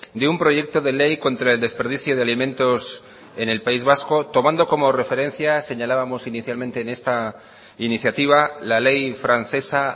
de un proyecto de ley contra el desperdicio de alimentos en el país vasco tomando como referencia señalábamos inicialmente en esta iniciativa la ley francesa